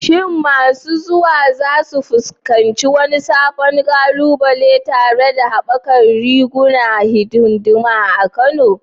Shin masu zuwa za su fuskanci wani sabon ƙalubale tare da haɓakar rigunan hidima a Kano?